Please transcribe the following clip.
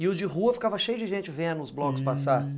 E o de rua ficava cheio de gente vendo os blocos passarem?